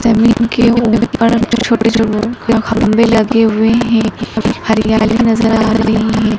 जमीन के ऊपर छोटे छोटे खंभे लगे हुए हैं हरियाली नजर आ रही है।